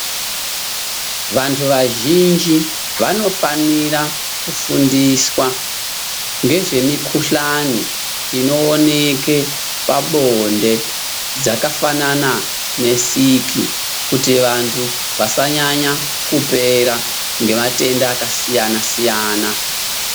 Vandu vazhinji vanofanira kufundiswa ngezvemukuhlani inoonekwe pabonde dzakafana nesiki kuti vandu vasanyanya kupera nematenda akasiyana- siyana.